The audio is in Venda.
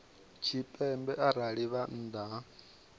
tshipembe arali vha nnḓa ha